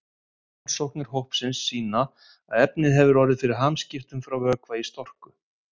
Rannsóknir hópsins sýna að efnið hefur orðið fyrir hamskiptum frá vökva í storku.